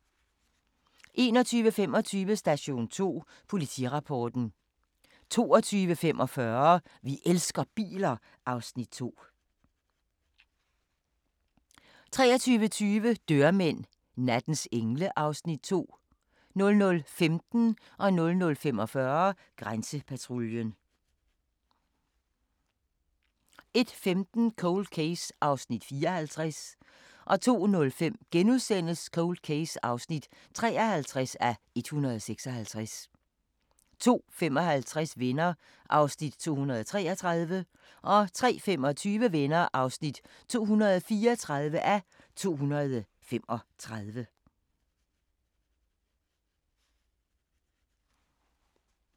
21:25: Station 2: Politirapporten 22:45: Vi elsker biler (Afs. 2) 23:20: Dørmænd – nattens engle (Afs. 2) 00:15: Grænsepatruljen 00:45: Grænsepatruljen 01:15: Cold Case (54:156) 02:05: Cold Case (53:156)* 02:55: Venner (233:235) 03:25: Venner (234:235)